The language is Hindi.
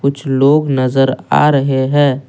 कुछ लोग नजर आ रहे हैं।